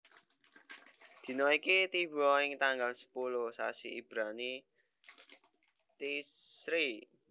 Dina iki tiba ing tanggal sepuluh sasi Ibrani Tishri